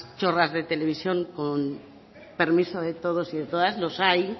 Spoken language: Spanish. chorras de televisión con permiso de todos y todas los hay